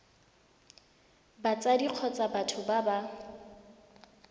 batsadi kgotsa batho ba ba